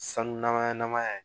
Sanu nama ya na ma